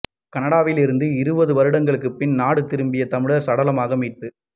கனடாவில் இருந்து இருபது வருடங்களுக்கு பின் நாடு திரும்பிய தமிழர் சடலமாக மீட்பு